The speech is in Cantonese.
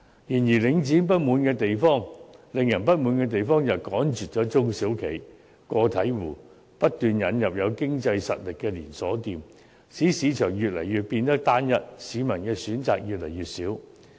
然而，領展令人不滿的地方是它趕絕了中小型企業和個體戶，不斷引入有經濟實力的連鎖店，使市場越來越單一，市民的選擇越來越少。